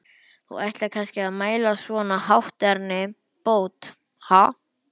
Þú ætlar kannski að mæla svona hátterni bót, ha?